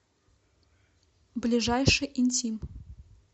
ближайший интим